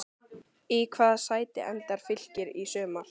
Í hvaða sæti endar Fylkir í sumar?